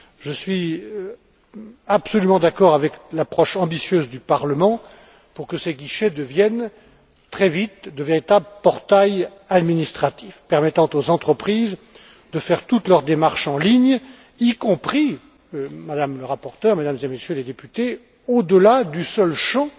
Je suis absolument d'accord avec l'approche ambitieuse du Parlement pour que ces guichets deviennent très vite de véritables portails administratifs permettant aux entreprises de faire toutes leurs démarches en ligne, y compris, Madame la rapporteure, Mesdames et Messieurs les députés, au delà du seul champ